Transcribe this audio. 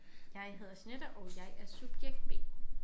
Jeg hedder Jeanette og jeg er subjekt B